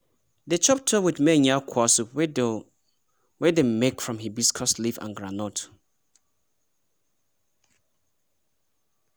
dey chop tuwo with miyan yakuwa soup wey dem make from hibiscus leaf and groundnut.